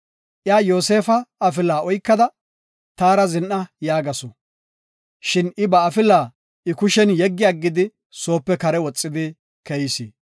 Iya Yoosefa afila oykada, “Taara zin7a” yaagasu. Shin I ba afila I kushiyan yeggi aggidi, soope kare woxi keyis.